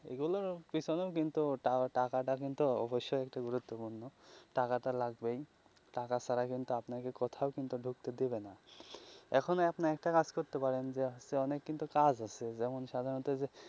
এইগুলোর পিছনেও কিন্তু টাকাটা কিন্তু অবশ্যই গুরুত্ব পূর্ণ টাকাটা লাগবেই টাকা ছাড়া কিন্তু আপনাকে কোথাও কিন্তু ঢুকতে দেবে না এখন আপনি একটা কাজ করতে পারেন যে অনেক কিন্তু কাজ আছে যেমন সাধারণত.